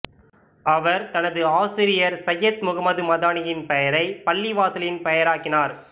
அவர் தனது ஆசிரியர் சையத் முகமது மதானியின் பெயரை பள்ளிவாசலின் பெயராக்கினார்